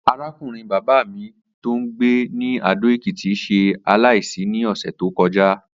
Arákùnrin bàbá mi tó ń gbé ní Adó-Ekìtì s̩e aláìsí ní ò̩sè̩ tó ko̩já